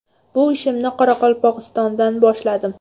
Bu ishimni Qoraqalpog‘istondan boshladim.